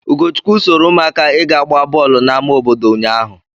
Ugochukwu soro ụmụaka ịga gbaa bọọlụ n'ama obodo ụnyaahụ.